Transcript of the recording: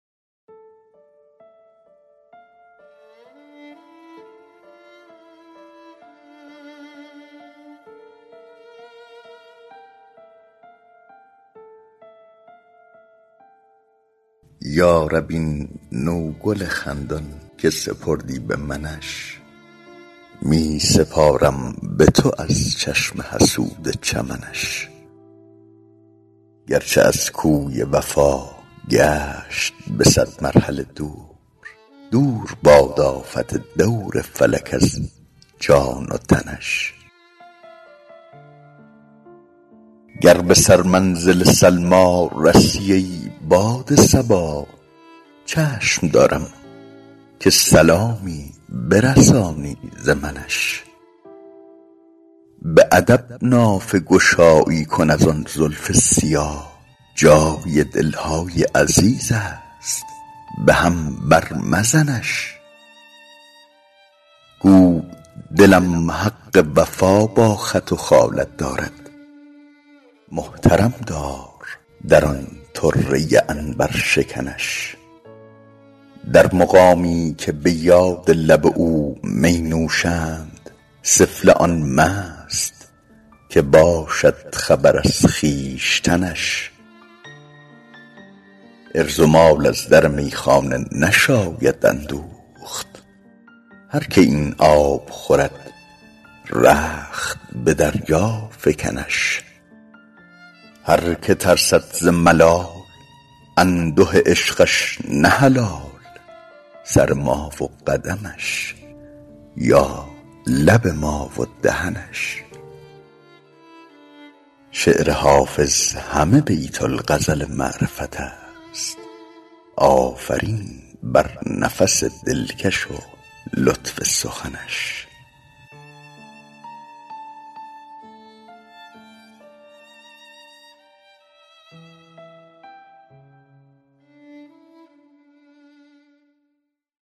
یا رب این نوگل خندان که سپردی به منش می سپارم به تو از چشم حسود چمنش گرچه از کوی وفا گشت به صد مرحله دور دور باد آفت دور فلک از جان و تنش گر به سرمنزل سلمی رسی ای باد صبا چشم دارم که سلامی برسانی ز منش به ادب نافه گشایی کن از آن زلف سیاه جای دل های عزیز است به هم بر مزنش گو دلم حق وفا با خط و خالت دارد محترم دار در آن طره عنبرشکنش در مقامی که به یاد لب او می نوشند سفله آن مست که باشد خبر از خویشتنش عرض و مال از در میخانه نشاید اندوخت هر که این آب خورد رخت به دریا فکنش هر که ترسد ز ملال انده عشقش نه حلال سر ما و قدمش یا لب ما و دهنش شعر حافظ همه بیت الغزل معرفت است آفرین بر نفس دلکش و لطف سخنش